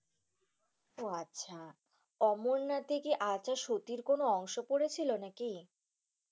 উহ, আচ্ছা। অমরনাথে কি সতীর কোনো অংশ পড়েছিল নাকি?